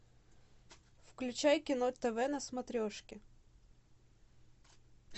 включай кино тв на смотрешке